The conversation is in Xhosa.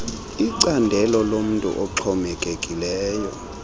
icandelo lomntu oxhomekekileyo